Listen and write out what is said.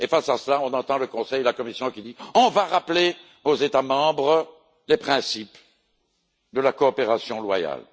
Face à cela, on entend le Conseil et la Commission qui disent On va rappeler aux États membres le principe de la coopération loyale.